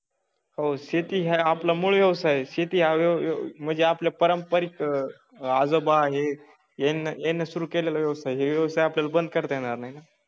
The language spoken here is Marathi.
हो शेती हे आपला मूळ व्यवसाय आहे. शेती हा व्यव म्हणजे आपला पारंपारिक आजोबा हे यांनी सुरू केलेला व्यवसाय ही व्यवसाय आपल्याला बंद करता येणार नाही ना.